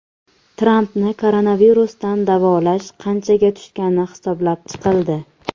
Trampni koronavirusdan davolash qanchaga tushgani hisoblab chiqildi.